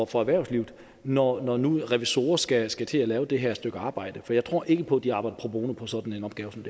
for erhvervslivet når når nu revisorer skal skal til at lave det her stykke arbejde for jeg tror ikke på at de arbejder pro bono på sådan en opgave som